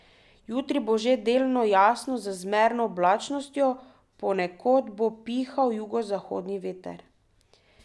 Jutri bo že delno jasno z zmerno oblačnostjo, ponekod bo pihal jugozahodni veter.